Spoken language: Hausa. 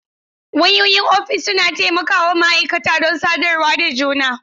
Wayoyin ofis suna taimaka wa ma'aikata don sadarwa da juna.